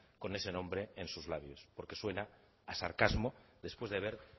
con ese nombre en sus labios porque suena a sarcasmo después de ver